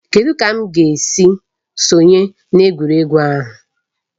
Kedụ ka m ga-esi sonye na egwuregwu ahụ?